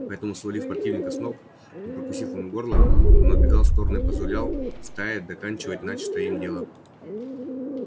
поэтому свалив противника с ног и прокусив ему горло он отбегал в сторону и позволял стае доканчивать начатое им дело